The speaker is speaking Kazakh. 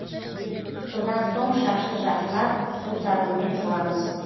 содан соң шашты жақсылап сусабынмен жуамыз